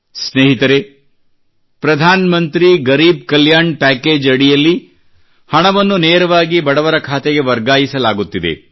ಸ್ನೇಹಿತರೇ ಪ್ರಧಾನ್ ಮಂತ್ರಿ ಗರಿಬ್ ಕಲ್ಯಾಣ್ ಪ್ಯಾಕೇಜ್ ಅಡಿಯಲ್ಲಿ ಹಣವನ್ನು ನೇರವಾಗಿ ಬಡವರ ಖಾತೆಗೆ ವರ್ಗಾಯಿಸಲಾಗುತ್ತಿದೆ